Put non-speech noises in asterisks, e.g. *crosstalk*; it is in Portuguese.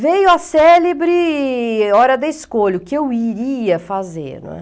Veio a célebre é hora da escolha, o que eu iria fazer. *unintelligible*